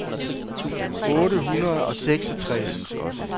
otte hundrede og seksogtres